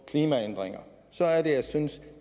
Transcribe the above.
klimaændringer og så er det jeg synes